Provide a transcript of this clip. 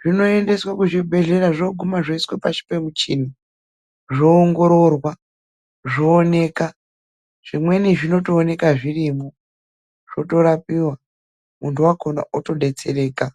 zvinoendeswa kuzvibhedhlera zvoguma zvoiswa pasi pemichini zvoongororwa zvooneka. Zvimweni zvinoonekwa zvirimo zvorapiwa, muntu wakona otodetsereka .